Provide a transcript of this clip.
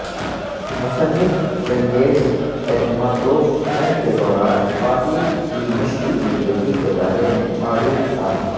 مصنف Chingiz Aitmatov جنگ کے دوران خواتین کی مشکل زندگی کے بارے میں معلوم تھا